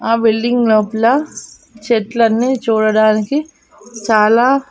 ఆ బిల్డింగ్ లోపల చెట్లు అన్ని చూడడానికి చాలా.